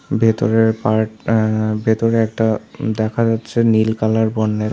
ভেতরের পার্ট -টা ভেতরে একটা দেখা যাচ্ছে নীল কালার বন্যের --